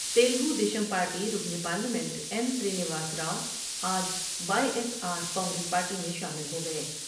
Telugu Desam party رکن parliament N Srinivas Rao آج Y S R Congress party میں شامل ہو گئے ۔